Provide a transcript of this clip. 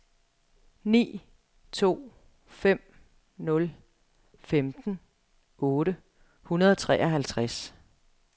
ni to fem nul femten otte hundrede og treoghalvtreds